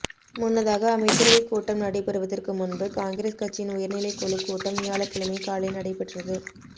முன்னதாக அமைச்சரவைக் கூட்டம் நடைபெறுவதற்கு முன்பு காங்கிரஸ் கட்சியின் உயர்நிலைக் குழுக் கூட்டம் வியாழக்கிழமை காலை நடைபெற்றது